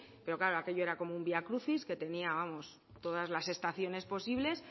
pero claro aquello era como un viacrucis que tenía todas las estaciones posibles